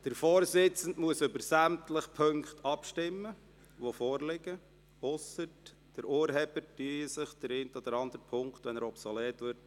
Der Vorsitzende muss über sämtliche Punkte abstimmen lassen, die vorliegen, es sei denn, der Urheber ziehe den einen oder anderen Punkt zurück, wenn er obsolet wird.